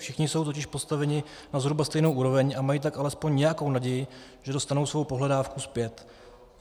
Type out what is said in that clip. Všichni jsou totiž postaveni na zhruba stejnou úroveň a mají tak alespoň nějakou naději, že dostanou svou pohledávku zpět.